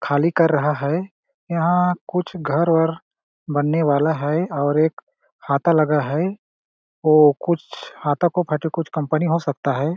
खाली कर रहा है यहाँ कुछ घर वर बनने वाला है और एक खाता लगा है ओ कुछ खाता को लेके कुछ कंपनी हो सकता हैं ।